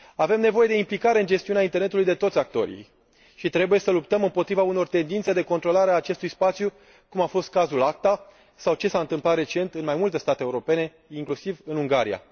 Avem nevoie de implicare în gestiunea internetului a tuturor actorilor și trebuie să luptăm împotriva unor tendințe de controlare a acestui spațiu, cum a fost cazul ACTA, sau ce s a întâmplat recent în mai multe state europene, inclusiv în Ungaria.